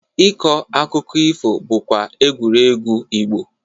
Ịkọ akụkụ ifo bụkwa egwuregwu Igbo.